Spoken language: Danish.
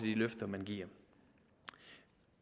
de løfter man giver